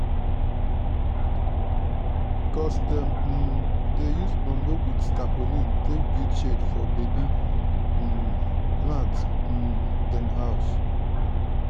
cuz dem um dey use bamboo with tapolin take build shed for baby um plant um dem house.